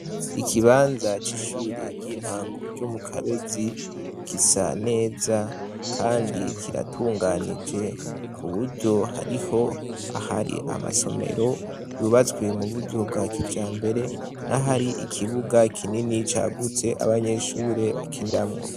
Ikibanza c'ishure ry'intango ryo mu kabezi gisa neza, kandi kiratunganije ku buryo hariho ahari amasomero yubatswie mu buryo bwa kica mbere na hari ikibuga kinini cagutse abanyeshure bakindamwo.